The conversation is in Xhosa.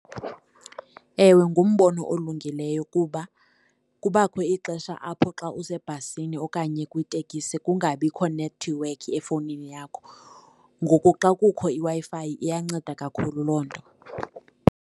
Ewe, ngumbono olungileyo kuba kubakho ixesha apho xa usebhasini okanye kwitekisi kungabikho nethiwekhi efowunini yakho. Ngoku xa kukho iWi-Fi iyanceda kakhulu loo nto.